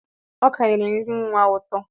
Ọka nyere nri nwa a ụtọ.